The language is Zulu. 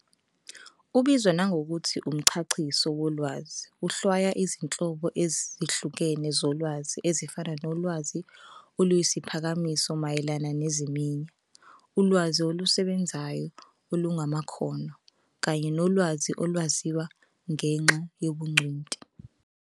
Ubizwa nangokuthi umchachiso wolwazi, uhlwaya izinhlobo ezihlukene zolwazi ezifana nolwazi oluyisiphakamiso mayelana neziminya, ulwazi olusebenzayo olungamakhono, kanye nolwazi olwaziwa ngenxa yobungcweti.